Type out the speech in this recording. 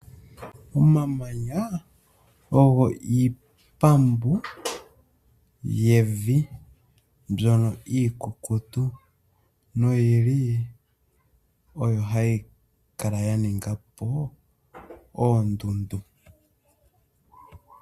Omamanya ogo iipambu yevi mbyono iikukutu noyi li oyo hayi kala ya ninga po oondundu.